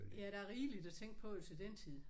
Ja der er rigeligt at tænke på jo til den tid